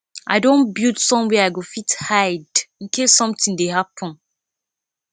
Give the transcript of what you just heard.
i don build somewhere i go fit hide in case something dey happen